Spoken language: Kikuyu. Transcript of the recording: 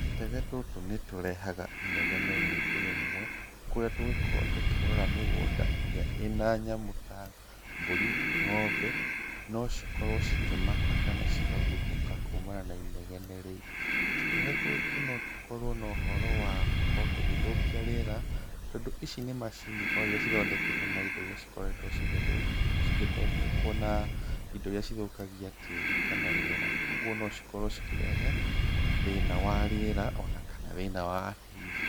Tũtege tũtũ nĩtũrehaga inegene rĩingĩ rĩmwe, kũrĩa tũgĩkorwo tũkĩrora mĩgũnda ĩrĩa ĩna nyamũ ta mbũri, ng'ombe, no cikorwo cikĩmaka kana cikaguthũka kumana na inegene rĩu. Tũtege tũtũ no tũkorwo na ũhoro wa gũkorwo tũgĩthũkia riera, tondũ ici nĩ macini o iria cithondeketwo na indo iria cikoretwo cigĩthondekwo na indo iria cithũkagia tĩĩri kana rĩera. Koguo no cikorwo cikĩrehe thĩna wa rĩera, ona kana thĩna wa tĩĩri.